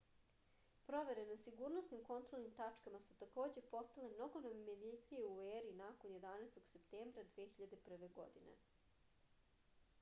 provere na sigurnosnim kontrolnim tačkama su takođe postale mnogo nametljivije u eri nakon 11. septembra 2001. godine